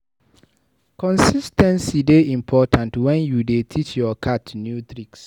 Consis ten cy dey important wen you dey teach your cat new tricks.